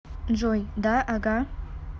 джой да ага